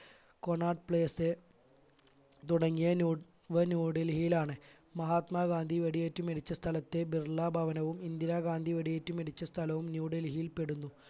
കൊനാട്ട് place തുടങ്ങിയ ഇവ ന്യൂഡൽഹിയിലാണ് മഹാത്മാഗാന്ധി വെടിയേറ്റ് മരിച്ച സ്ഥലത്തെ ബിർള ഭവനവും ഇന്ദിരാഗാന്ധി വെടിയേറ്റ് മരിച്ച സ്ഥലവും ന്യൂഡൽഹിയിൽപ്പെടുന്നു.